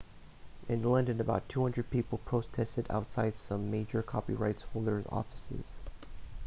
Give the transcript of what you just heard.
in london about 200 people protested outside some major copyright holders' offices